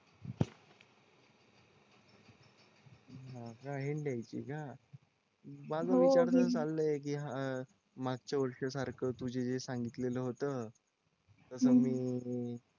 हा काय हिंट द्यायची का माझा तर विचार चालाय की हा मागच्या वर्षी सारखं तुझे जे सांगितलेलं होतं तसं मी